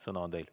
Sõna on teil.